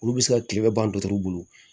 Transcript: Olu bɛ se ka tile bɛ ban dɔgɔtɔrɔ bolo